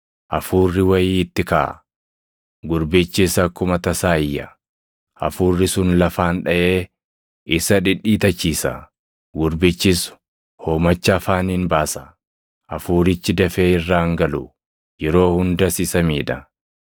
Hafuurri wayii itti kaʼa; gurbichis akkuma tasaa iyya; hafuurri sun lafaan dhaʼee isa dhidhiitachiisa. Gurbichis hoomacha afaaniin baasa; hafuurichi dafee irraa hin galu; yeroo hundas isa miidha.